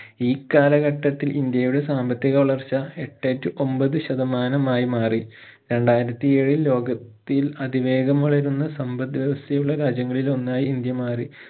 ഈ കാലഘട്ടത്തിൽ ഇന്ത്യയുടെ സാമ്പത്തിക വളർച്ച എട്ടേ to ഒൻപത് ശതമാനമായി മാറി രണ്ടായിരത്തി ഏഴിൽ ലോക ത്തിൽ അതിവേഗം വളരുന്ന സമ്പത് വ്യവസ്ഥയുള്ള രാജ്യങ്ങളിൽ ഒന്നായി ഇന്ത്യ മാറി